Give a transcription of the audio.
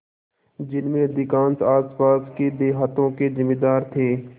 जिनमें अधिकांश आसपास के देहातों के जमींदार थे